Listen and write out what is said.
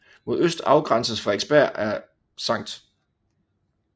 Mod øst afgrænses Frederiksberg af Skt